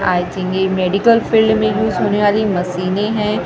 आई think ये medical field में use होने वाली मशीने है--